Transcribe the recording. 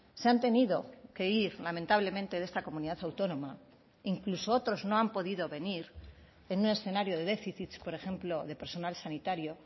se han tenido que ir lamentablemente de esta comunidad autónoma incluso otros no han podido venir en un escenario de déficit por ejemplo de personal sanitario